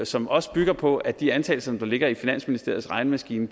som også bygger på at de antagelser som der ligger i finansministeriets regnemaskine